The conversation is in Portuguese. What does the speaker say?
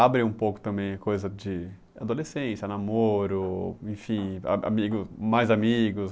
abre um pouco também a coisa de adolescência, namoro, enfim, a amigos mais amigos.